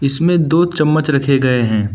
इसमें दो चम्मच रखे गए हैं।